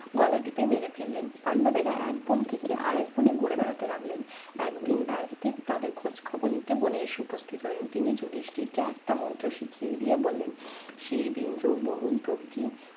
গলা টিপে মেরে ফেললেন পাণ্ডবেরা এক বন থেকে আরেক বনে ঘুরে বেড়াতে লাগলেন একদিন রাজদীপ তাদের খোঁজ খবর নিতে বনে এসে উপস্থিত হলেন তিনি যুধিষ্টিরকে মন্ত্র শিখিয়ে দিয়ে বললেন শিব ইন্দ্র বরুণ প্রভৃতি